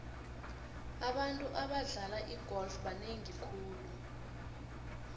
abantu abadlala igolf banengi khulu